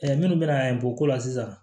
minnu bɛna bɔ ko la sisan